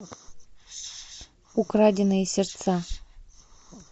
украденные сердца